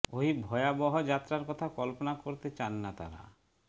ওই ভয়াবহ যাত্রার কথা কল্পনা করতে চান না তাঁরা